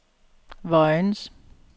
Vojens